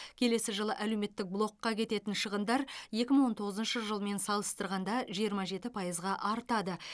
келесі жылы әлеуметтік блокқа кететін шығындар екі мың он тоғызыншы жылмен салыстырғанда жиырма жеті пайызға артады